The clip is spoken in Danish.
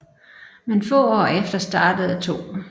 Men få år efter startede 2